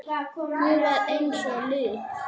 Hún var eins og lík.